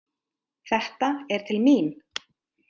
Þetta er til mín!